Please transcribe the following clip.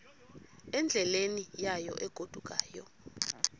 endleleni yayo egodukayo